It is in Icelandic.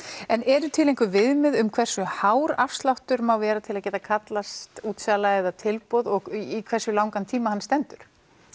en eru til einhver viðmið um hversu hár afsláttur má vera til að geta kallast útsala eða tilboð og í hversu langan tíma hann stendur